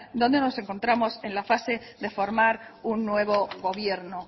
donde nos encontramos en la fase de formar un nuevo gobierno